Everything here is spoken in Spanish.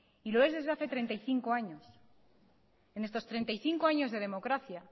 y lo es desde hace treinta y cinco años en estos treinta y cinco años de democracia